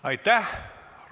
Aitäh!